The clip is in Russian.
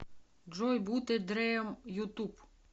джой бат э дрим ютуб